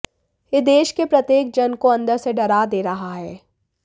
यह देश के प्रत्येक जन को अंदर से डरा दे रहा है